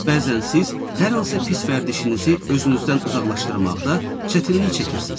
Bəzən siz hər hansı pis vərdişinizi özünüzdən uzaqlaşdırmaqda çətinlik çəkirsiz.